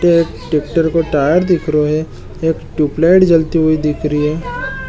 एक ट्रैक्टर को टायर दिख रहा है एक ट्यूबलाइट जलती हुई दिख रही है।